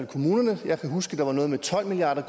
kommunerne jeg kan huske der var noget med tolv milliard